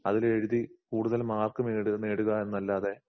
അതിലെഴുതി കൂടുതൽ മാർക്ക് നേടുക നേടുകാ എന്നല്ലാതെ